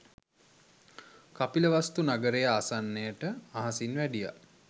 කපිලවස්තු නගරය ආසන්නයට අහසින් වැඩියා